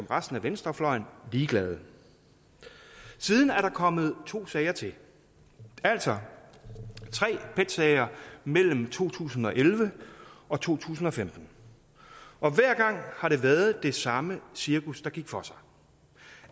resten af venstrefløjen ligeglade siden er der kommet to sager til altså tre pet sager mellem to tusind og elleve og to tusind og femten og hver gang har det været det samme cirkus der gik for sig